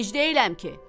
Gec deyiləm ki?